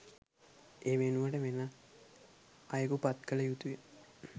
ඒ වෙනුවට වෙනත් අයෙකු පත් කළ යුතුය